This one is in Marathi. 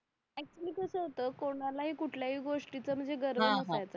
एक्चुअली कसं होत कोणालाही कुठल्याही गोष्टी म्हणजे गर्व नसायचा